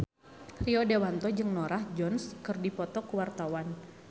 Rio Dewanto jeung Norah Jones keur dipoto ku wartawan